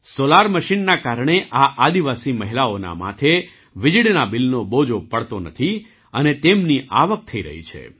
solar મશીનના કારણે આ આદિવાસી મહિલાઓના માથે વીજળીના બિલનો બોજો પડતો નથી અને તેમની આવક થઈ રહી છે